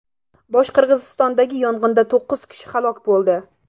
Boshqirdistondagi yong‘inda to‘qqiz kishi halok bo‘ldi.